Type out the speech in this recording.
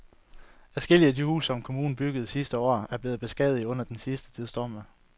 Adskillige af de huse, som kommunen byggede sidste år, er blevet beskadiget under den sidste tids stormvejr.